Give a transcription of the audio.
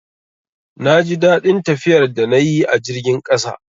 Na ji daɗin tafiyar da na yi a jirgin ƙasa